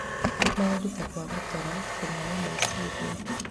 Maũndũ ta kwaga toro, kũnoga meciria,